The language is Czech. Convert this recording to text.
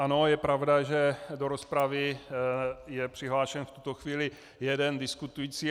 Ano, je pravda, že do rozpravy je přihlášen v tuto chvíli jeden diskutující.